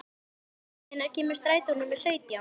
Ísmey, hvenær kemur strætó númer sautján?